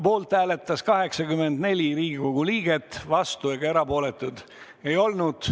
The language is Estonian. Poolt hääletas 84 Riigikogu liiget, vastuolijaid ega erapooletuid ei olnud.